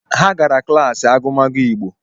Ha gara kilasi agụmagụ Igbo